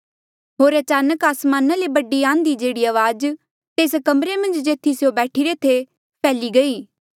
होर अचानक आसमाना ले बड़ी आंधी जेहड़ी अवाज तेस कमरे मन्झ जेथी स्यों बैठिरे थे फैल्ही गई गया